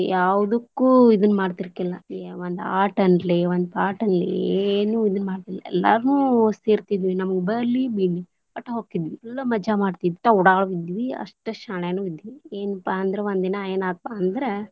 ಯಾವದಕ್ಕೂ ಇದನ್ನ ಮಾಡ್ತಿರಲಿಲ್ಲಾ, ಒಂದ ಆಟ ಅನ್ನಲಿ ಒಂದ ಪಾಠ ಅನ್ನಲಿ ಏನು ಇದ ಮಾಡ್ತಿರಲಿಲ್ಲಾ ಎಲ್ಲಾನು ಸೇರ್ತಿದ್ವಿ ನಮ್ಗ್ ಬರ್ಲಿ ಬಿಡ್ಲಿ, ವಟ್ಟ್ ಹೊಕ್ತಿದ್ವಿ full ಮಜಾ ಮಾಡ್ತಿದ್ವಿ ಉಡಾಳ್ ಇದ್ವಿ ಅಷ್ಟಾ ಶಾಣ್ಯಾನು ಇದ್ವಿ, ಏನಪ್ಪಾ ಅಂದ್ರ ಒಂದ ದಿನಾ ಏನಾತಪಾ ಅಂದ್ರ.